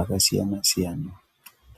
akasiyana-siyana.